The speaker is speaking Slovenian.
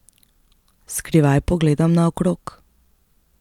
Skrivaj pogledam naokrog.